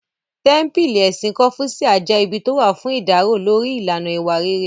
Tẹ́ḿpílì Ẹ̀sìn kọ́fúṣíà jẹ́ ibi tó wà fún ìdárò lórí ìlànà ìwà rere